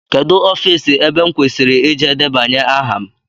Kedụ ofiisi ebe m kwesịrị ịje debanye aha m?